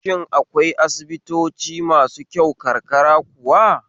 Shin akwai asibitoci masu kyau karkara kuwa?